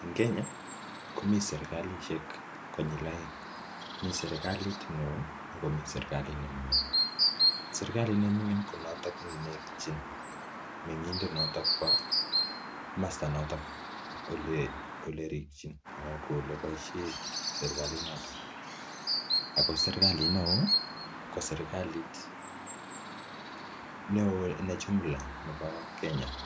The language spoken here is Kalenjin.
En Kenya komi serkalishek konyil oeng mi serkalit neo ak komi serkalit ne ming'in. Serkalit ne ming'in konoto neityin meng'indet nebo komosta noton ole rikyin ole boisie serkalinoto. Ago serkalit neo ko serkalit neo ne jumla nebo Kenya.